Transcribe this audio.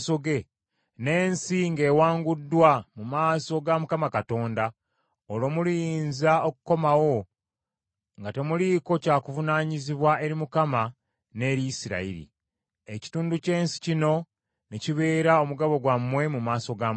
n’ensi ng’ewanguddwa mu maaso ga Mukama Katonda, olwo muliyinza okukomawo nga temuliiko kya kuvunaanyizibwa eri Mukama n’eri Isirayiri. Ekitundu ky’ensi kino ne kibeera omugabo gwammwe mu maaso ga Mukama .